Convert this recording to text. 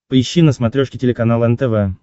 поищи на смотрешке телеканал нтв